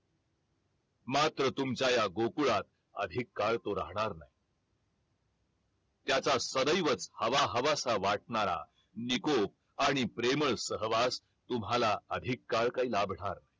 मात्र तुमच्या या गोकुळात अधिक काळ तो राहणार नाही त्याच सदैवच हवा हवासा वाटणारा निकोप आणि प्रेमळ सहवास तुम्हाला अधिक काळ काही लाभणार